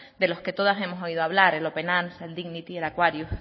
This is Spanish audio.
de los que todas hemos oído hablar el open arms el dignity el aquarius